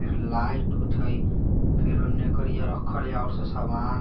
लाइट ठई हईफिर कड़िया रखड़िया हई ऑसे सामान।